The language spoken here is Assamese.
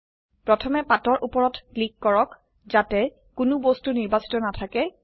প্ৰথমে পাতৰ উপৰত ক্লিক কৰক যাতে কোনো বস্তু নিৰ্বাচিত নাথাকে